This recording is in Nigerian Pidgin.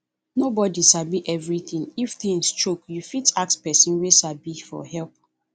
nobody sabi everything if things choke you fit ask person wey sabi for help